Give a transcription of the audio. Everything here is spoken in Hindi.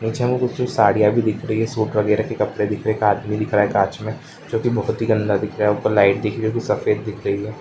पीछे हमें कुछ-कुछ साड़ियाँ भी दिख रही है सूट वगैरह के कपड़े दिख रहे हैं। एक आदमी दिख रहा है काँच में जोकि बहुत ही गंदा दिख रही है ऊपर लाइट दिख रही है सफेद दिख रही है।